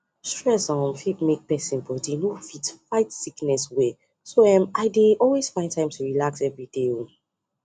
stress um fit make person body no fit fight sickness well so um i dey always find time to relax everyday um